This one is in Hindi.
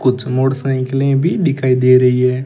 कुछ मोटरसाइकिलें भी दिखाई दे रही है।